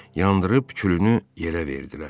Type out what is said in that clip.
Yandırıb külünü yerə verdilər.